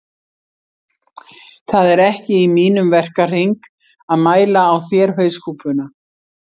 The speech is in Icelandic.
Það er ekki í mínum verkahring að mæla á þér hauskúpuna